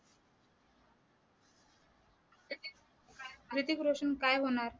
हृतिक रोशन काय होणार?